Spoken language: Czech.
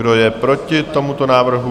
Kdo je proti tomuto návrhu?